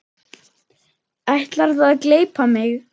Ætlarðu að gleypa mig!